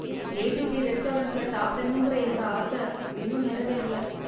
A to B ரெஸ்டாரண்ட்ல சாப்பிடணும்கற என்னோட ஆச இன்னும்நெறவேறல.